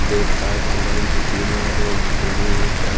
breakfast lunch dinner दिन ही प--